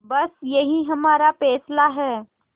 बस यही हमारा फैसला है